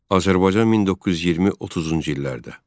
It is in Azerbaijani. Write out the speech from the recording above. Azərbaycan 1920-30-cu illərdə.